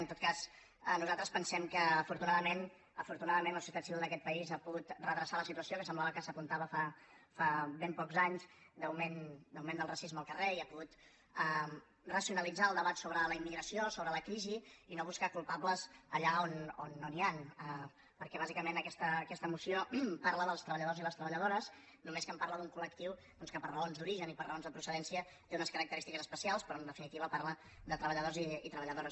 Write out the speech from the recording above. en tot cas nosaltres pensem que afortunadament afortunadament la societat civil d’aquest país ha pogut redreçar la situació que semblava que s’apun·tava fa ben pocs anys d’augment del racisme al car·rer i ha pogut racionalitzar el debat sobre la immi·gració sobre la crisi i no buscar culpables allà on no n’hi han perquè bàsicament aquesta moció parla dels treballadors i les treballadores només que parla d’un col·lectiu doncs que per raons d’origen i per raons de procedència té unes característiques especials però en definitiva parla de treballadors i treballadores